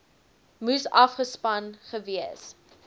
moes afgespan gewees